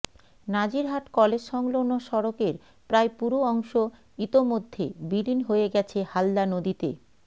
Nazirhat college সংলগ্ন সড়কের প্রায় পুরো অংশ ইতোমধ্যে বিলীন হয়ে গেছে হালদা নদীতে